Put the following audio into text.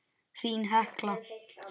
Þín Hekla.